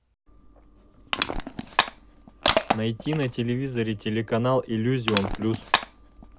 найти на телевизоре телеканал иллюзион плюс